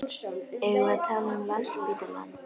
Eigum við að tala um Landspítalann?